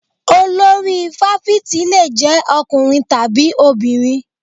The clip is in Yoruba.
Olori fáfitì le jẹ́ ọkùnrin tàbí obìnrin.